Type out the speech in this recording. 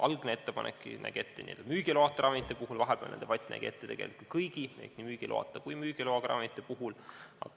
Algne ettepanek nägi selle ette müügiloata ravimite puhul, vahepealne debatt nägi ette kõigi ehk nii müügiloata kui ka müügiloaga ravimite puhul.